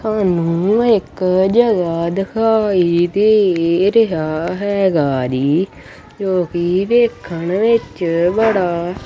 ਤੁਹਾਨੂੰ ਇੱਕ ਜਗ੍ਹਾ ਦਿਖਾਈ ਦੇ ਰਿਹਾ ਹੈਗਾ ਢੀ ਜੋ ਕਿ ਵੇਖਣ ਵਿੱਚ ਬੜਾ--